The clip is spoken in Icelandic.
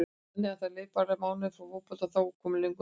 Þannig að það leið bara mánuður frá fótbolta og þá kom löngunin aftur?